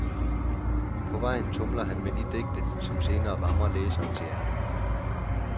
På vejen tumler han med de digte, som senere rammer læserens hjerte.